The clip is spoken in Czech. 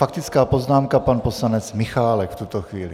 Faktická poznámka pana poslance Michálka v tuto chvíli.